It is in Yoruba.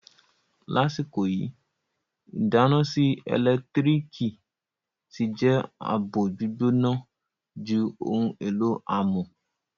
Lasiko yi, idana sii elentiriki ti je abo-gbigbona ju ohun elo amọ